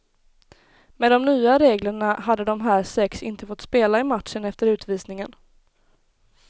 Med de nya reglerna hade de här sex inte fått spela i matchen efter utvisningen.